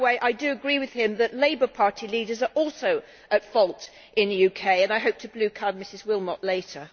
By the way, I do agree with him that Labour Party leaders are also at fault in the UK, and I hope to blue card Ms Willmott later.